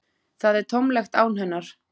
Það er tómlegt án hennar.